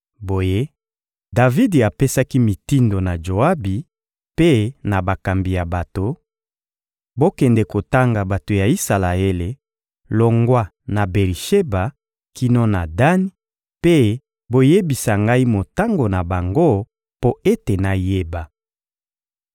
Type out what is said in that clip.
Boye, Davidi apesaki mitindo na Joabi mpe na bakambi ya bato: — Bokende kotanga bato ya Isalaele, longwa na Beri-Sheba kino na Dani, mpe boyebisa ngai motango na bango mpo ete nayeba.